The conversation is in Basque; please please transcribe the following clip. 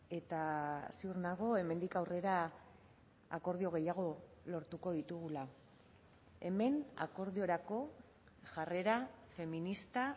eta ziur nago hemendik aurrera akordio gehiago lortuko ditugula hemen akordiorako jarrera feminista